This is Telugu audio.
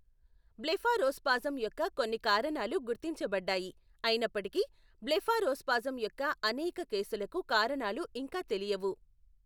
బ్లెఫారోస్పాజమ్ యొక్క కొన్ని కారణాలు గుర్తించబడ్డాయి, అయినప్పటికీ, బ్లెఫారోస్పాజమ్ యొక్క అనేక కేసులకు కారణాలు ఇంకా తెలియవు.